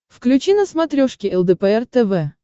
включи на смотрешке лдпр тв